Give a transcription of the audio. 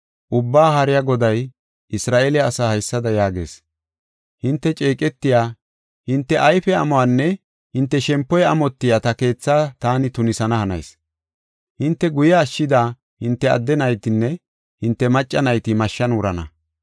Ubbaa Haariya Goday Isra7eele asaa haysada yaagees; “Hinte ceeqetiya, hinte ayfe amuwanne hinte shempoy amotiya ta keethaa taani tunisana hanayis. Hinte guye ashshida hinte adde naytinne hinte macca nayti mashshan wurana.